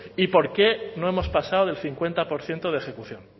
y por qué no hemos pasado del cincuenta por ciento de ejecución